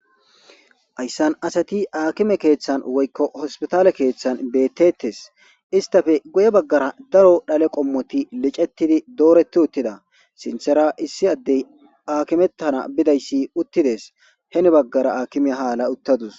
Haysan asati akimey kethan woyko hospitale kethan betetes istape guye bagara daro dhale qomoti lic'etidi doreti wotida sintera issi adey akimetana be'idaysi utides heni bagara akimiya ha ala utadus.